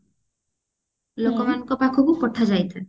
ଲୋକମାନଙ୍କ ପାଖକୁ ପଠା ଯାଇଥାଏ